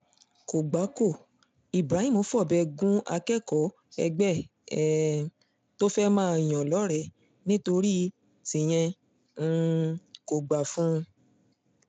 kò gbà kó ibrahim fọbẹ̀ gun akẹ́kọ̀ọ́ ẹgbẹ́ um ẹ̀ tó fẹ́ẹ́ máa yàn lọ́rẹ̀ẹ́ nítorí tíyẹn um kò gbà fún un